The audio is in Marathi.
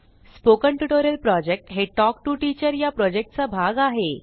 स्पोकन ट्युटोरियल प्रॉजेक्ट हे टॉक टू टीचर या प्रॉजेक्टचा भाग आहे